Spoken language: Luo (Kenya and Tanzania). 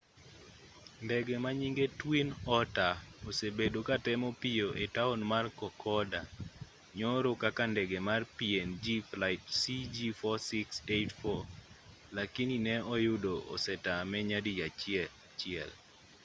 ndege manyinge twin otter osebedo katemo pio e taon mar kokoda nyoro kaka ndege mar png flight cg4684 lakini ne oyudo osetame nyadi chiel